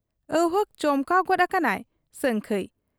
ᱟᱹᱣᱦᱟᱹᱠ ᱪᱚᱢᱠᱟᱣ ᱜᱚᱫ ᱟᱠᱟᱱᱟᱭ ᱥᱟᱹᱝᱠᱷᱟᱹᱭ ᱾